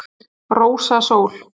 Rósa Sól.